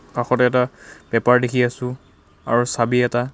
কাষত এটা পেপাৰ দেখি আছো আৰু চাবি এটা.